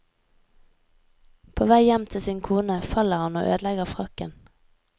På vei hjem til sin kone faller han og ødelegger frakken.